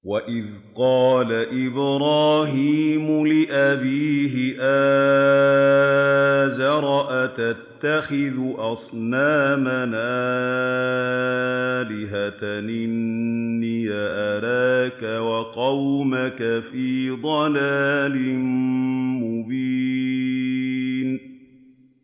۞ وَإِذْ قَالَ إِبْرَاهِيمُ لِأَبِيهِ آزَرَ أَتَتَّخِذُ أَصْنَامًا آلِهَةً ۖ إِنِّي أَرَاكَ وَقَوْمَكَ فِي ضَلَالٍ مُّبِينٍ